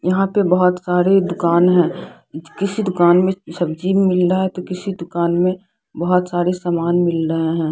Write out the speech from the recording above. यहाँ पे बहुत सारे दुकान है किसी दुकान मे सब्जी मिल रहा है तो किसी दुकान मे बहुत सारे सामान मिल रहे है।